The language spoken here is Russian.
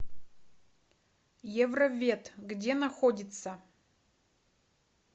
евровет где находится